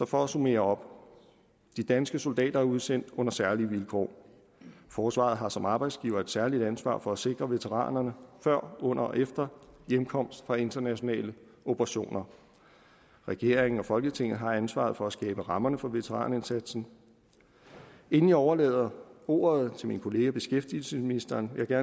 for at summere op de danske soldater er udsendt på særlige vilkår forsvaret har som arbejdsgiver et særligt ansvar for at sikre veteranerne før under og efter hjemkomsten fra internationale operationer regeringen og folketinget har ansvaret for at skabe rammerne for veteranindsatsen inden jeg overlader ordet til min kollega beskæftigelsesministeren vil jeg